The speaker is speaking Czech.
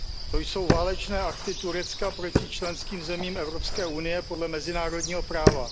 To jsou válečné akty Turecka proti členským zemím Evropské unie podle mezinárodního práva.